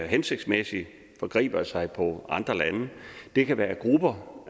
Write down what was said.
hensigtsmæssigt og forgriber sig på andre lande det kan være grupper